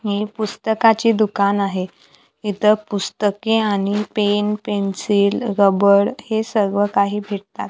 हे पुस्तकाचे दुकान आहे इथं पुस्तके आणि पेन पेन्सिल रबर हे सर्व काही भेटतात.